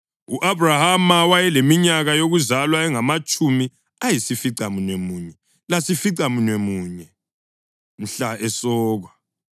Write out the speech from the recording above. U-Abhrahama wayeleminyaka yokuzalwa engamatshumi ayisificamunwemunye lasificamunwemunye mhla esokwa,